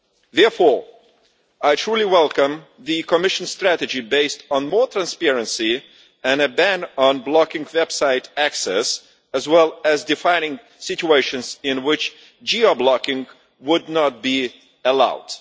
Therefore, I truly welcome the Commission's strategy based on more transparency and a ban on blocking website access, as well as defining situations in which geo blocking would not be allowed.